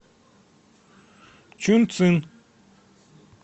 чунцин